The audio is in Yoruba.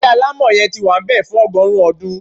Ilé alamọ yẹn tí wá nbẹ fún ọgọrun ọdún